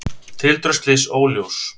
Tildrög slyss óljós